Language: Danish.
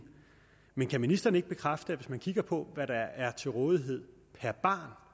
men kan ministeren ikke bekræfte at man kigger på hvad der er til rådighed per barn